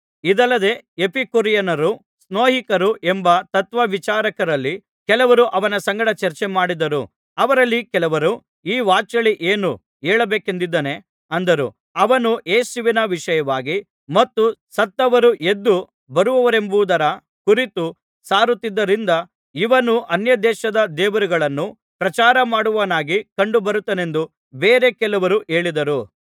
ಇದಲ್ಲದೆ ಎಪಿಕೂರಿಯನ್ನರು ಸ್ತೋಯಿಕರು ಎಂಬ ತತ್ವವಿಚಾರಕರಲ್ಲಿ ಕೆಲವರು ಅವನ ಸಂಗಡ ಚರ್ಚೆಮಾಡಿದರು ಅವರಲ್ಲಿ ಕೆಲವರು ಈ ವಾಚಾಳಿ ಏನು ಹೇಳ ಬೇಕೆಂದಿದ್ದಾನೆ ಅಂದರು ಅವನು ಯೇಸುವಿನ ವಿಷಯವಾಗಿ ಮತ್ತು ಸತ್ತವರು ಎದ್ದು ಬರುವರೆಂಬುದರ ಕುರಿತು ಸಾರುತ್ತಿದ್ದುದರಿಂದ ಇವನು ಅನ್ಯದೇಶದ ದೇವರುಗಳನ್ನು ಪ್ರಚಾರಮಾಡುವವನಾಗಿ ಕಂಡುಬರುತ್ತಾನೆಂದು ಬೇರೆ ಕೆಲವರು ಹೇಳಿದರು